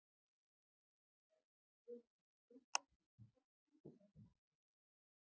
Öll eiga þessi heiti við sekkinn með hrognunum í.